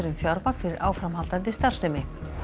fjármagn fyrir áframhaldandi starfsemi